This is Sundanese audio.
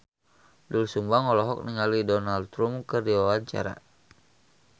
Doel Sumbang olohok ningali Donald Trump keur diwawancara